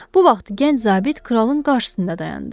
Bu vaxt gənc zabit kralın qarşısında dayandı.